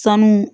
Sanu